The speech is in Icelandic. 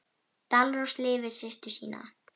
Dalrós lifir systur sína.